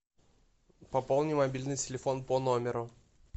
пополни мобильный телефон по номеру